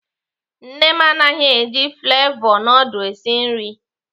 Nne m anaghị eji flevọ nudul esi nri.